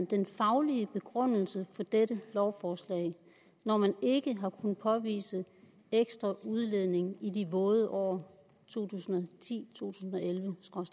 den faglige begrundelse for dette lovforslag når man ikke har kunnet påvise ekstra udledning i de våde år to tusind